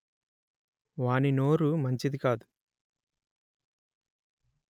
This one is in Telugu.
వాని నోరు మంచిది కాదు